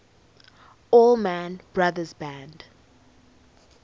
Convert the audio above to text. allman brothers band